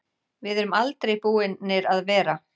Við erum aldrei búnir að vera.